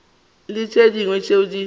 le tše dingwe tšeo di